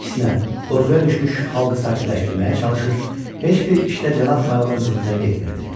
Əksinə, qorxuya düşmüş xalqı sakitləşdirməyə çalışır, heç bir işdə Cənab Mayorun ziddinə getmirdi.